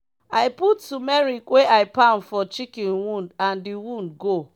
i put tumeric wey i pound for chicken wound and di wound go.